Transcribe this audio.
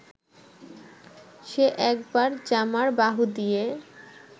সে একবার জামার বাহু দিয়ে